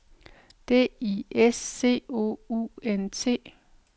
D I S C O U N T